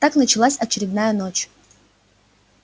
так началась очередная ночь